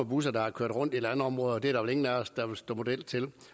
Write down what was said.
busser der har kørt rundt i landområder og det er der vel ingen af os der vil stå model til